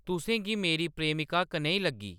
तुसें गी मेरी प्रेमिका कनेही लग्गी